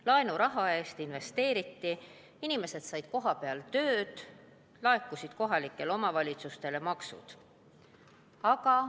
Laenuraha eest investeeriti, inimesed said kohapeal tööd, kohalikele omavalitsustele laekusid maksud.